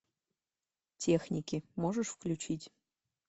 техники можешь включить